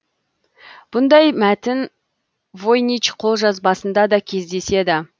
бұндай мәтін войнич қолжазбасында да кездеседі